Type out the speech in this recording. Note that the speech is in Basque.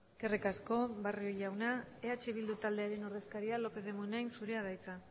eskerrik asko barrio jauna eh bildu taldearen ordezkaria lópez de munain zurea da hitza